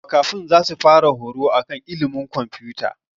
Makafi zasu fara horo akan ilimin komfuta